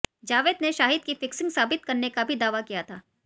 जावेद ने शाहिद की फिक्सिंग साबित करने का भी दावा किया था